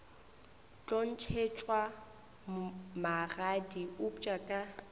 tlo ntšhetšwa magadi eupša ka